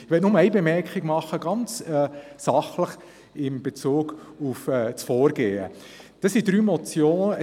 Ich möchte eine sachliche Bemerkung in Bezug auf das Vorgehen machen.